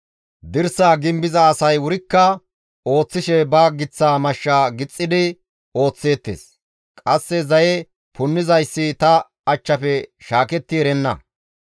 Dirsaa gimbiza asay wurikka ooththishe ba giththa mashsha gixxidi ooththeettes; qasse zaye punnizayssi ta achchafe shaaketti erenna.